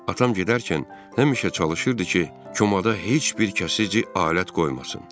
Atam gedərkən həmişə çalışırdı ki, komada heç bir kəsici alət qoymasın.